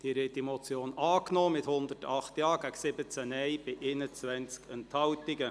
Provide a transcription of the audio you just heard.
Wir haben diese Motion angenommen, mit 108 Ja- gegen 17 Nein-Stimmen bei 21 Enthaltungen.